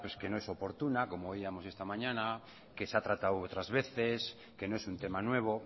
que no es oportuna como oíamos esta mañana que se ha tratado otras veces que no es un tema nuevo